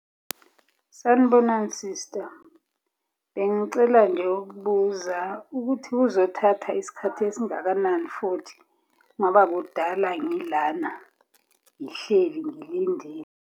Sanibonani sista, bengicela nje ukubuza ukuthi kuzothatha isikhathi esingakanani futhi, ngoba kudala ngilana ngihleli ngilindile.